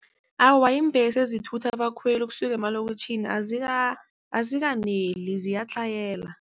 Awa, iimbhesi ezithutha abakhweli ukusuka emalokitjhini azikaneli ziyatlhayela.